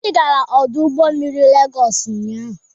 Obi gara ọdụ ụgbọ mmiri Legosị ụnyaahụ.